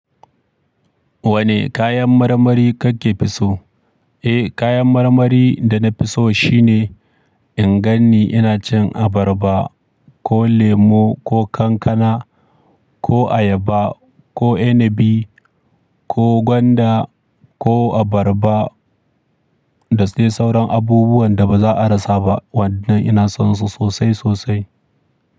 Wane kayan marmari kake fi so? Eh, kayan marmari da nafi so shine in ganni ina cin abarba ko lemo ko kankana ko ayaba ko inabi ko gwanda ko abarba da sai sauran abubuwan da baza a rasa ba waɗanda ina son su sosai sosai.